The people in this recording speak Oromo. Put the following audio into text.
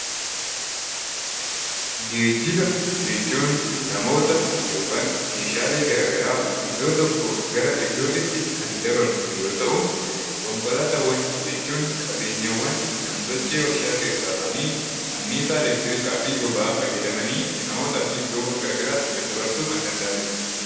Geejiba jechuun namoota yookaan Meeshaalee garaagaraa iddoo tokkoo gara iddoo biraatti kan dabarsan yoo ta'u, konkolaataawwan jechuun qabeenyaawwan waarshaa keessaa bahan boba'aa fayyadamanii garaagaraatti dabarsaa oolanidha.